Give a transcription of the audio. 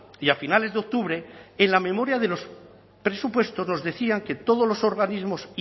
y a finales de octubre en la memoria de los presupuestos nos decían que todos los organismos